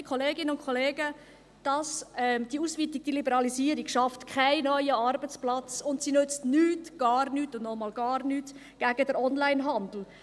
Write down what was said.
Liebe Kolleginnen und Kollegen, diese Ausweitung, diese Liberalisierung schafft keinen neuen Arbeitsplatz, und sie nützt nichts, gar nichts und nochmals nichts gegen den Onlinehandel.